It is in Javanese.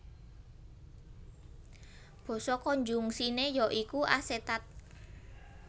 Basa konjungsiné ya iku asetat